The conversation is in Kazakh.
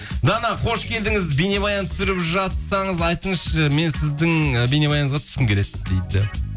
дана қош келдіңіз бейнебаян түсіріп жатсаңыз айтыңызшы мен сіздің ы бейнебаяныңызға түскім келеді дейді